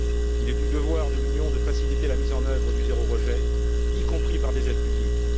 Il est du devoir de l'Union de faciliter la mise en œuvre du zéro rejet, y compris par des aides publiques.